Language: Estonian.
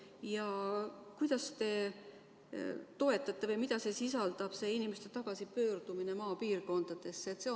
Ja kuidas te toetate inimeste tagasipöördumist maapiirkondadesse?